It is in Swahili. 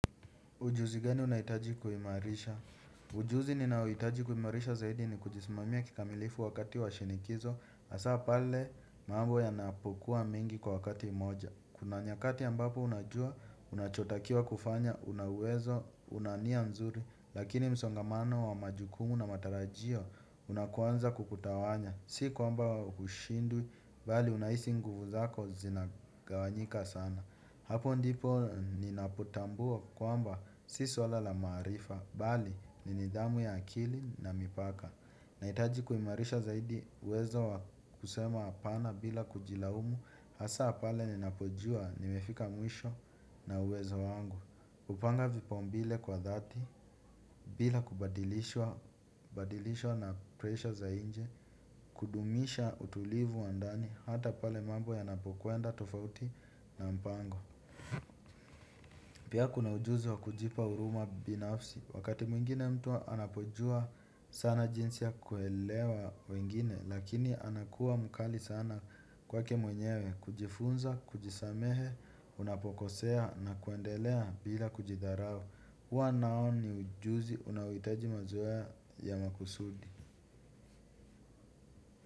Ujuzi gani unahitaji kuhimarisha. Ujuzi ninaohitaji kuimarisha zaidi ni kujismamia kikamilifu wakati wa shinikizo hasaa pale mambo yanapokua mingi kwa wakati mmoja kuna nyakati ambapo unajua unachotakiwa kufanya unauwezo una nia mzuri lakini msongamano wa majukumu na matarajio unakwanza kukutawanya si kwamba hushindwi bali unahisi nguvu zako zinagawanyika sana. Hapo ndipo ninapotambua kwamba si suala la maarifa bali ni nidhamu ya akili na mipaka. Nahitaji kuimarisha zaidi uwezo wa kusema hapana bila kujilaumu hasaa pale ninapojua nimefika mwisho na uwezo wangu upanga vipaumbile kwa dhati bila kubadilishwa na pressure za inje kudumisha utulivu wa ndani hata pale mambo yanapokwenda tofauti na mpango. Pia kuna ujuzi wa kujipa huruma binafsi wakati mwingine mtu anapojua sana jinsi ya kuelewa wengine lakini anakuwa mkali sana kwake mwenyewe kujifunza kujisamehe unapokosea na kuendelea bila kujidharao. Huwa nao ni ujuzi unaohitaji mazoea ya makusudi.